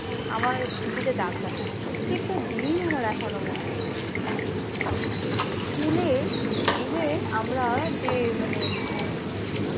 আমার স্মৃতিতে দাগ কাটেনি। প্রত্যেকটা দিন আমার এখনো মনে আছে। স্কুলে even আমরা যে মানে